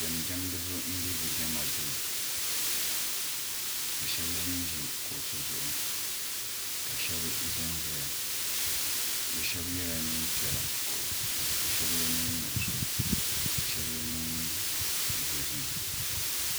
jamijamini bɛ be jama do ka shɛbi zan zaya shɛbi yɛla nɛpiɛlla ka shɛbi yɛ nɛnsabila ka shɛbi yɛ nɛn dozim